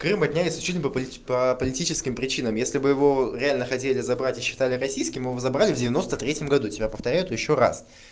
крым отняли исключительно по политическим причинам если бы его реально хотели забрать и считали российским его забрали в девяносто третьем году тебе повторяю это ещё раз